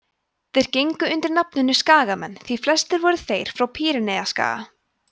þeir gengu undir nafninu skagamenn því flestir voru þeir frá pýreneaskaga